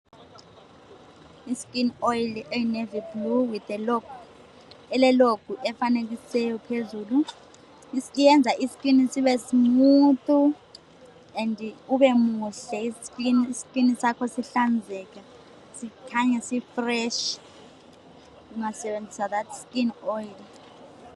I skin oil eyi navy blue ele logo efanekisiweyo phezulu yenza i skin sibe smooth and ube muhle skin sakho sihlanzeke sikhanye si fresh ungasebenzisa that skin oil.